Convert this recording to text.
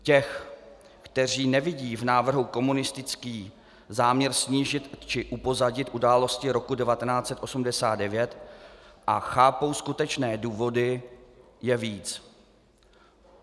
Těch, kteří nevidí v návrhu komunistický záměr snížit či upozadit události roku 1989 a chápou skutečné důvody, je víc.